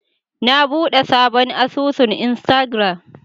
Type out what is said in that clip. Na bude sabon asusun Instagram.